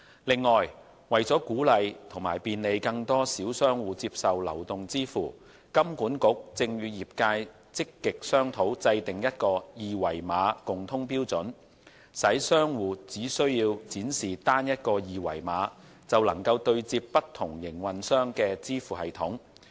另外，為鼓勵和便利更多小商戶接受流動支付，金管局正與業界積極商討制訂一個二維碼共通標準，使商戶只需展示單一個二維碼就能對接不同營運商的支付系統。